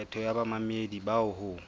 kgetho ya bamamedi bao ho